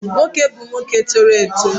Nwoke bu nwoke toro eto